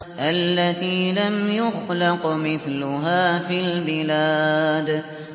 الَّتِي لَمْ يُخْلَقْ مِثْلُهَا فِي الْبِلَادِ